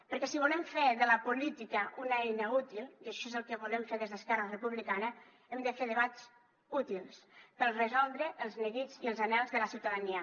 perquè si volem fer de la política una eina útil i això és el que volem fer des d’esquerra republicana hem de fer debats útils per resoldre els neguits i els anhels de la ciutadania